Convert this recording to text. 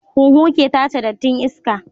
Huhu ke tace dattin iska